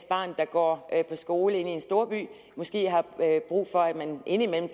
barn der går på skole i en storby måske har brug for indimellem at